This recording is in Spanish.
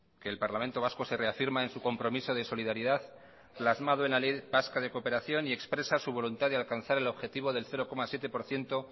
que el parlamento vasco se reafirma en su compromiso de solidaridad plasmado en la ley vasca de cooperación y expresa su voluntad de alcanzar el objetivo del cero coma siete por ciento